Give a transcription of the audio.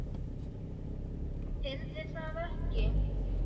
Heyrði það ekki.